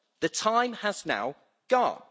The time has now gone.